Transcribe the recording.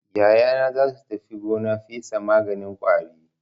Yayana za su tafi gona fesa maganin ƙwari.